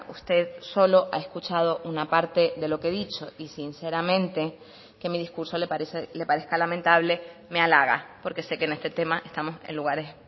usted solo ha escuchado una parte de lo que he dicho y sinceramente que mi discurso le parezca lamentable me halaga porque sé que en este tema estamos en lugares